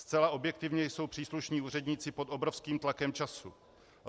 Zcela objektivně jsou příslušní úředníci pod obrovským tlakem času.